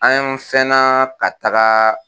An yɔn fɛna ka taa.